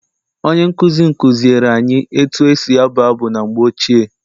Onye nkụzi m kụziere anyị etu esi abụ abụ na mgbe ochie.